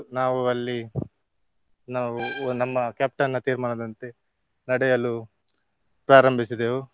ನಾವು ಅಲ್ಲಿ ನಾವು ನಮ್ಮ captain ನ ತೀರ್ಮಾನದಂತೆ ನಡೆಯಲು ಪ್ರಾರಂಭಿಸಿದೆವು.